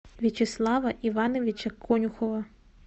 вячеслава ивановича конюхова